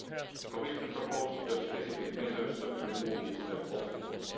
The Commission proposed specific measures to remove these obstacles.